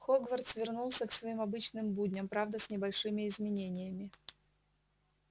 хогвартс вернулся к своим обычным будням правда с небольшими изменениями